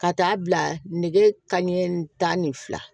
Ka taa bila nege kanɲɛ tan ni fila